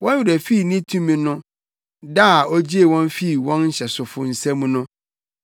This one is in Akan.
Wɔn werɛ fii ne tumi no, da a ogyee wɔn fii wɔn nhyɛsofo nsam no,